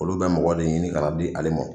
Olu bɛ mɔgɔ de ɲini ka na di ale mɔ.